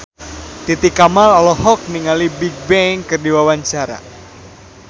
Titi Kamal olohok ningali Bigbang keur diwawancara